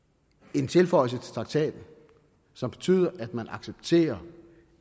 en tilføjelse til traktaten som betyder at man accepterer